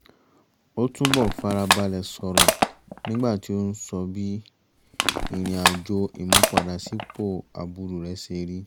ó túbọ̀ fara balẹ̀ sọrọ̀ nígbà tí ó ń sọ bí ìrìn àjò ìmúpadàbọ̀sípò àbúrò rẹ̀ ṣe rí